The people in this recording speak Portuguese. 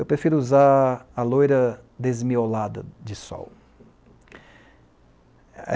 Eu prefiro usar a loira desmiolada de sol.